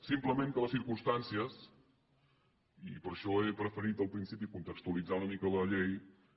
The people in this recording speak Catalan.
simplement que les circumstàncies i per això he preferit al principi contextualitzar una mica la llei